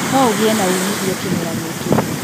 No ũgĩe na uumithio kĩmera gĩkĩ